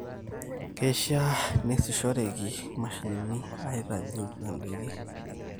keishaa neesishoreki imashinini aitajeu indaiki